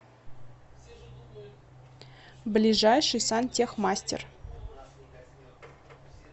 ближайший сантехмастер